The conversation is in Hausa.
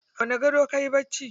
A wani gado kayi bacci?